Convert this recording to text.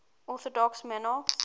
orthodox monarchs